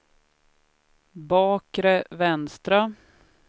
bakre vänstra